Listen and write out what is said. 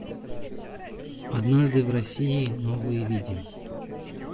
однажды в россии новые видео